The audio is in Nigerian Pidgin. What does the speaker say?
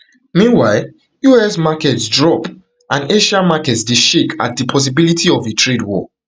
meanwhile us markets drop and asian markets dey shake at di possibility of a trade war